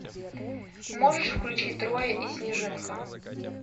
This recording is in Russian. можешь включить трое и снежинка